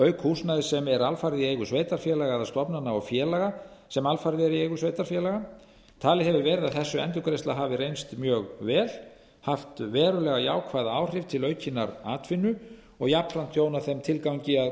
auk húsnæðis sem er alfarið í eigu sveitarfélaga eða stofnana og félaga sem alfarið eru í eigu sveitarfélaga talið hefur verið að þessi endurgreiðsla hafi reynst mjög vel haft verulega jákvæð áhrif til aukinnar atvinnu og jafnframt þjónað þeim tilgangi að